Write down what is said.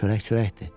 Çörək çörəkdir.